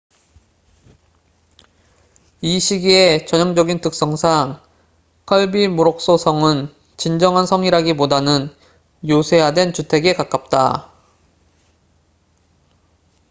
이 시기에 전형적인 특성상 kirby muxlo 성은 진정한 성이라기보다는 요새화된 주택에 가깝다